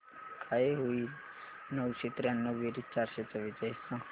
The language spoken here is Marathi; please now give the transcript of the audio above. काय होईल नऊशे त्र्याण्णव बेरीज चारशे चव्वेचाळीस सांग